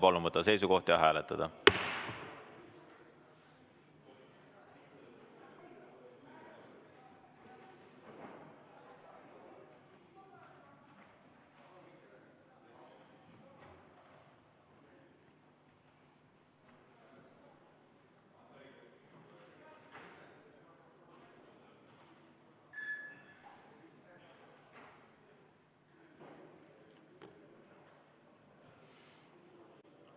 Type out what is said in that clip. Palun võtta seisukoht ja hääletada!